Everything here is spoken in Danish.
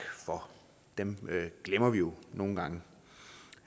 for dem glemmer vi jo nogle gange